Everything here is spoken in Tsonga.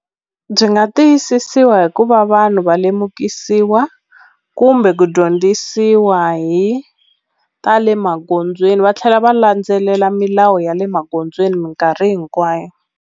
Byi nga tiyisisiwa hi ku va vanhu va lemukisiwa kumbe ku dyondzisiwa hi ta le magondzweni va tlhela va landzelela milawu ya le magondzweni minkarhi hinkwayo.